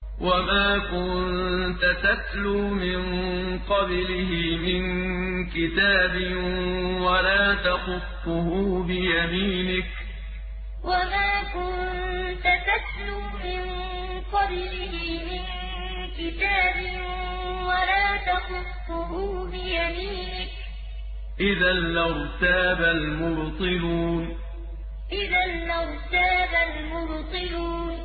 وَمَا كُنتَ تَتْلُو مِن قَبْلِهِ مِن كِتَابٍ وَلَا تَخُطُّهُ بِيَمِينِكَ ۖ إِذًا لَّارْتَابَ الْمُبْطِلُونَ وَمَا كُنتَ تَتْلُو مِن قَبْلِهِ مِن كِتَابٍ وَلَا تَخُطُّهُ بِيَمِينِكَ ۖ إِذًا لَّارْتَابَ الْمُبْطِلُونَ